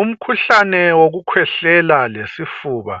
Umkhuhlane wokukhwehlela lesifuba